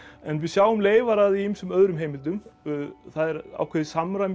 en við sjáum leifar af því í ýmsum öðrum heimildum það er ákveðið samræmi í